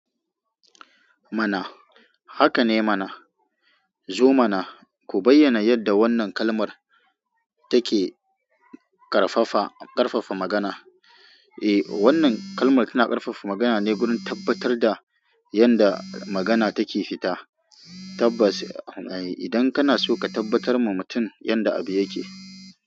Mana. Haka ne mana. Zo mana ku bayyana yadda wannan kalmar take ƙarfafa, ƙarfafa magana. Eh wannan kalmar tana ƙarfafa magana ne wurin tabbatar da yanda magana take fita. Tabbas, idan kana so ka tabbatar ma mutum yadda abu yake.